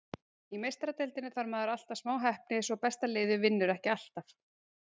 Í Meistaradeildinni þarf maður alltaf smá heppni svo besta liðið vinnur ekki alltaf.